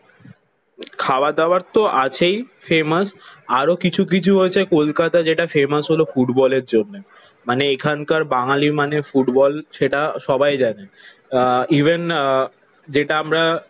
খাওয়া-দাওয়ার তো আছেই ফেমাস। আরো কিছু কিছু আছে কলকাতা যেটা ফেমাস হলো ফুটবলের জন্যে। মানে এখানকার বাঙালি মানে ফুটবল সেটা সবাই জানে। ইভেন আহ যেটা আমরা